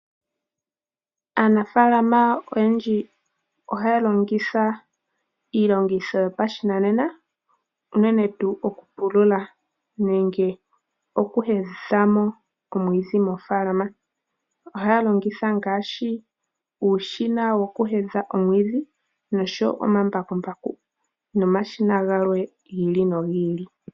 Aanafalama oyendji ohaya longitha iilongitho yopashinanena unene tuu okupulula nenge oku hedhithamo omwiidhi mofalama. Ohaya longitha ngaashi uushina woku hedha omwiidhi, omambakumbaku nomashina gamwe gi ili nogi ili.